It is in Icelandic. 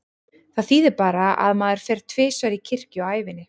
Það þýðir bara að maður fer tvisvar í kirkju á ævinni.